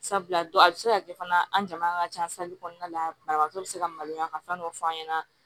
Sabula don a bi se ka kɛ fana an jama ka ca kɔnɔna la banabagatɔ bɛ se ka maloya ka fɛn dɔ f'an ɲɛna